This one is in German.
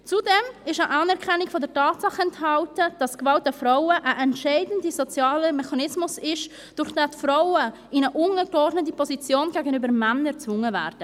Zudem ist eine Anerkennung der Tatsache enthalten, dass Gewalt an Frauen ein entscheidender sozialer Mechanismus ist, durch den die Frauen in eine untergeordnete Position gegenüber Männern gezwungen werden.